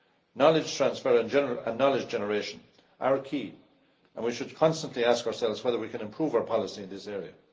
Knowledge transfer and knowledge generation are key and we should constantly ask ourselves whether we can improve our policy in this area.